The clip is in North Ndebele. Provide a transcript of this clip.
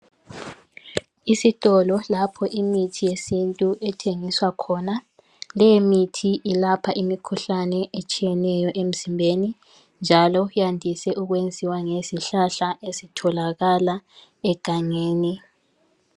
Isitolo lapho imithi yesintu ethengiswa khona leyi mithi ilapha imikhuhlane etshiyeneyo emzimbeni njalo yandise ukwenziwa ngezihlahla ezitholakala egangeni